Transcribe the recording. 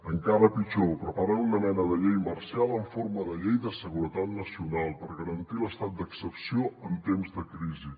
encara pitjor preparen una mena de llei marcial en forma de llei de seguretat nacional per garantir l’estat d’excepció en temps de crisi